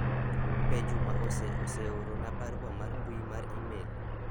be Juma ose oseorona barua mar mbui mar email